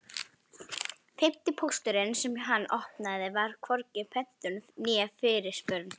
Fimmti pósturinn sem hann opnaði var hvorki pöntun né fyrirspurn.